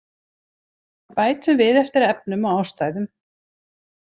Bætum við eftir efnum og ástæðum